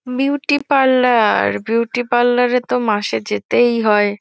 Beauty parlour beauty parlour -এ তো মাসে যেতেই হয়।